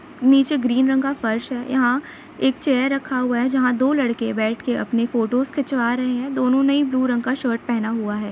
नीचे ग्रीन रंग का फर्श है यहां एक चेयर रखा हुआ है जहां दो लड़के बैठ के फोटोस खिंचवा रहे हैं दोनों ने ही ब्लू कलर का शर्ट पहना हुआ है।